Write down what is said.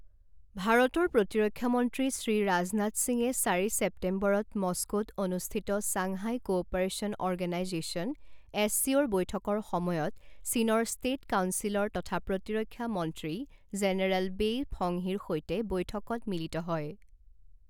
ভাৰতৰ প্ৰতিৰক্ষা মন্ত্ৰী শ্ৰী ৰাজনাথ সিঙে চাৰি ছেপ্টেম্বৰত মস্কোত অনুষ্ঠিত ছাংহাই কোঅপাৰেশ্যন অৰ্গেনাইজেশ্যন এছচিঅ ৰ বৈঠকৰ সময়ত চীনৰ ষ্টেট কাউন্সিলৰ তথা প্ৰতিৰক্ষা মন্ত্ৰী জেনেৰেল বেই ফংহিৰ সৈতে বৈঠকত মিলিত হয়।